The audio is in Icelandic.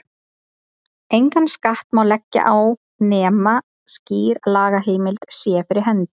Engan skatt má leggja á nema skýr lagaheimild sé fyrir hendi.